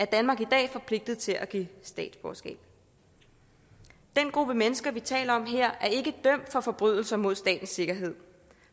danmark i dag forpligtet til at give statsborgerskab den gruppe mennesker vi taler om her er ikke dømt for forbrydelser mod statens sikkerhed